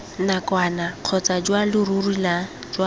nakwana kgotsa jwa leruri jwa